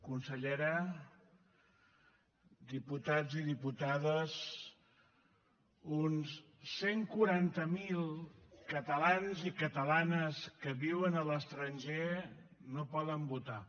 consellera diputats i diputades uns cent i quaranta miler catalans i catalanes que viuen a l’estranger no poden votar